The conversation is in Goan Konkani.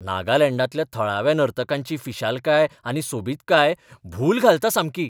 नागालँडांतल्या थळाव्या नर्तकांची फिशालकाय आनी सोबीतकाय भूल घालता सामकी.